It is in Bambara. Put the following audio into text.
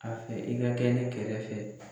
A fɛ i ka kɛ ne kɛrɛfɛ